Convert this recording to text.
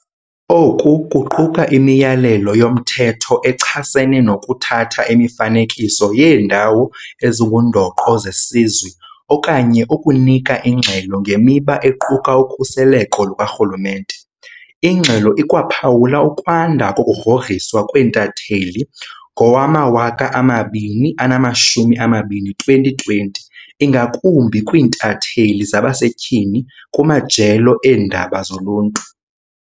Oku kuquka imiyalelo yomthetho echasene nokuthatha imifanekiso yeeNdawo ezinguNdoqo zeSizwe okanye ukunika ingxelo ngemiba equka ukhuseleko lukarhulumente. Ingxelo ikwaphawula ukwanda kokugrogriswa kweentatheli ngowama-2020, ingakumbi kwiintatheli zabasetyhini kumajelo eendaba zoluntu.